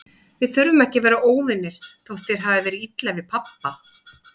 Við þurfum ekki að vera óvinir, þótt þér hafi verið illa við pabba.